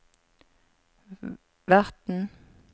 verten